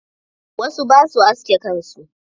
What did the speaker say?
Wasu ba sua aske kan su.